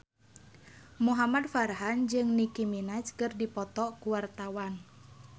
Muhamad Farhan jeung Nicky Minaj keur dipoto ku wartawan